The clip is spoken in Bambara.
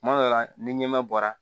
Kuma dɔ la ni ɲɛmaa bɔra